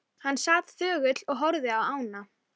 Súlamít, hvað er lengi opið í Brynju?